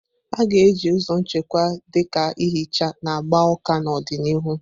A ga-eji ụzọ nchekwa, dị ka ihicha na gbaa ụka, n'ọdịnihu.